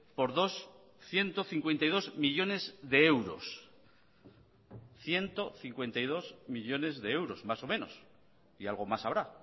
por dos ciento cincuenta y dos millónes de euros ciento cincuenta y dos millónes de euros más o menos y algo más habrá